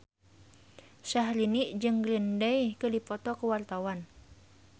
Syahrini jeung Green Day keur dipoto ku wartawan